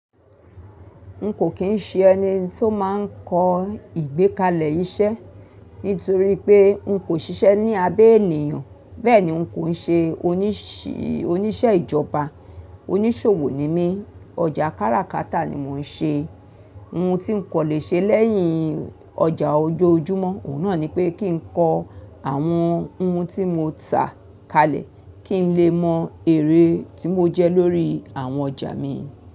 N kò kín ń ṣe ẹni tí ó máa ń kọ ìgbẹ́kalẹ̀ iṣẹ́ nítorí pé n kò ṣiṣẹ́ ní abẹ́ ènìyàn, bẹ́ẹ̀ ni n kò ń ṣe, onisi, oníṣẹ́ ìjọba. Oníṣòwò ni mí, ọjà káràkátà ni mò ń ṣe. Ohun tí n kò lè ṣe lẹ́yìn ọjà ojoojúmọ́, òun náà ni pé kí n kọ àwọn ohun tí mo tà kalẹ̀ kí n lè mọ èrèé tí mo jẹ́ lórí àwọn ọjà mi.